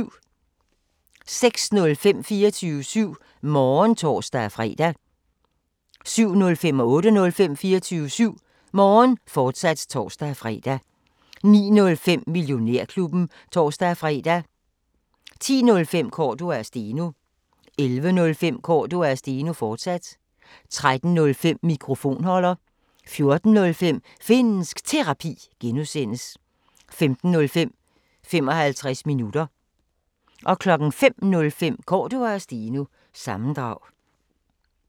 06:05: 24syv Morgen (tor-fre) 07:05: 24syv Morgen, fortsat (tor-fre) 08:05: 24syv Morgen, fortsat (tor-fre) 09:05: Millionærklubben (tor-fre) 10:05: Cordua & Steno 11:05: Cordua & Steno, fortsat 13:05: Mikrofonholder 14:05: Finnsk Terapi (G) 15:05: 55 minutter 05:05: Cordua & Steno – sammendrag